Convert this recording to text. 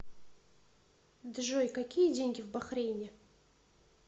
джой какие деньги в бахрейне